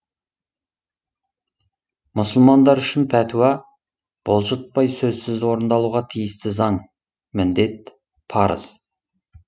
мұсылмандар үшін пәтуа бұлжытпай сөзсіз орындалуға тиісті заң міндет парыз